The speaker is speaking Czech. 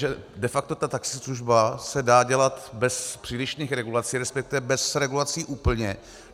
Že de facto ta taxislužba se dá dělat bez přílišných regulací, respektive bez regulací úplně.